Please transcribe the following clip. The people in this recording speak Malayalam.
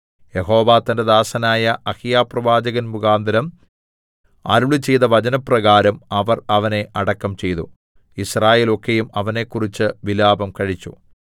യഹോവ തന്റെ ദാസനായ അഹീയാപ്രവാചകൻമുഖാന്തരം അരുളിച്ചെയ്ത വചനപ്രകാരം അവർ അവനെ അടക്കം ചെയ്തു യിസ്രായേലൊക്കെയും അവനെക്കുറിച്ച് വിലാപം കഴിച്ചു